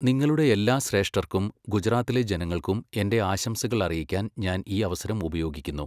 നിങ്ങളുടെ എല്ലാ ശ്രേഷ്ഠർക്കും ഗുജറാത്തിലെ ജനങ്ങൾക്കും എന്റെ ആശംസകൾ അറിയിക്കാൻ ഞാൻ ഈ അവസരം ഉപയോഗിക്കുന്നു.